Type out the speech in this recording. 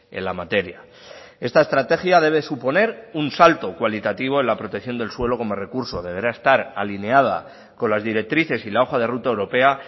en la materia esta estrategia debe suponer un salto cualitativo en la protección del suelo como recurso deberá estar alineada con las directrices y la hoja de ruta europea